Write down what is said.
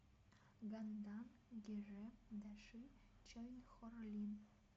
гандан геже даши чойнхорлин